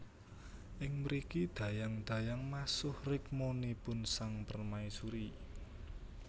Ing mriki dayang dayang masuh rikmanipun sang permaisuri